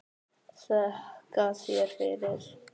Þakka þér fyrir